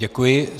Děkuji.